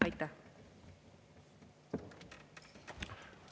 Aitäh!